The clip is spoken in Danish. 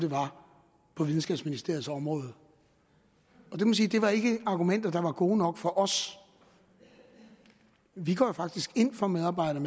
på videnskabsministeriets område det var ikke argumenter der er gode nok for os vi går faktisk ind for medarbejder